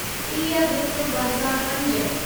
टीह हिक ॿ हज़ार पंज